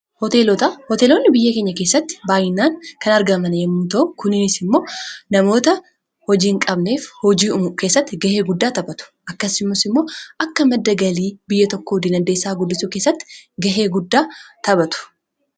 hooteeloonni biyya keenya keessatti baayinaan kan argamana yommuta'o kuniinis immoo namoota hojiiin qabneef hojii'umu keessatti gahee guddaa taphatu akkasimas immoo akka maddagalii biyya tokkoo dinandeessaa guddisuu keessatti gahee guddaa taphatu